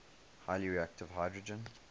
highly reactive hydrogen